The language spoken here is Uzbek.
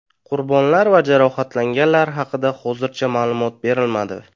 Qurbonlar va jarohatlanganlar haqida hozircha ma’lumot berilmadi.